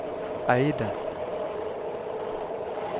Eide